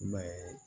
I m'a ye